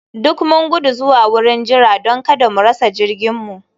Duk mun gudu zuwa wurin jira don kada mu rasa jirginmu